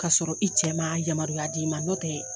k'a sɔrɔ i cɛ ma yamaruya d'i ma nƆ tɛ